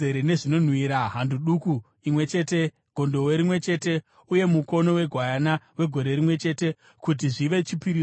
hando duku imwe chete, gondobwe rimwe chete uye mukono wegwayana wegore rimwe chete, kuti zvive chipiriso chinopiswa;